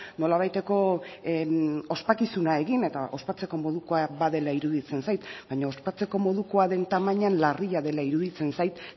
nolabaiteko ospakizuna egin eta ospatzeko modukoa badela iruditzen zait baina ospatzeko modukoa den tamainan larria dela iruditzen zait